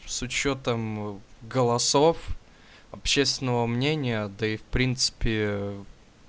с учётом голосов общественного мнения да и в принципе